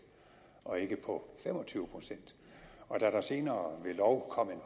og ikke på fem og tyve procent og da der senere ved lov kom en